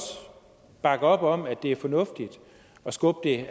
bakke op om at det er fornuftigt at skubbe